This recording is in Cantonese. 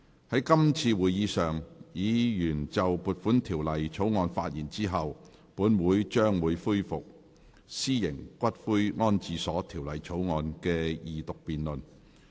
在今次會議上，議員就撥款條例草案發言後，本會將會恢復《私營骨灰安置所條例草案》的二讀辯論。